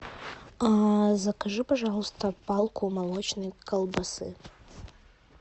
закажи пожалуйста палку молочной колбасы